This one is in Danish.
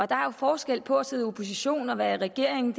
der er jo forskel på at sidde i opposition og være i regering